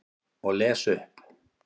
Og les upp.